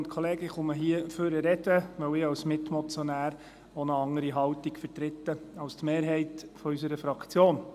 Ich spreche hier vorne, weil ich als Mitmotionär auch eine andere Haltung vertrete als die Mehrheit unserer Fraktion.